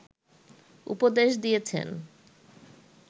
উপদেশ দিয়েছেন